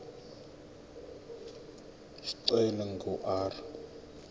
isicelo ingu r